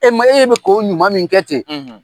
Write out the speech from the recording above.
E ma e be k'o ɲuman min kɛ ten